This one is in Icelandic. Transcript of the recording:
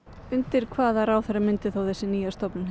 undir hvaða ráðherra myndi þessi nýja stofnun